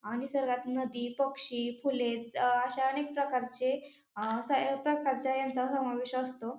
आणि निसर्गात नदी पक्षी फुले स अ अश्या अनेक प्रकारचे अ सगळ्या प्रकारचे यांचा समावेश असतो.